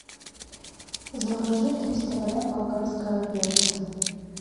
закажи триста грамм болгарского перца